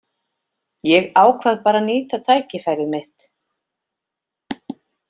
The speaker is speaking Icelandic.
Ég ákvað bara að nýta tækifærið mitt.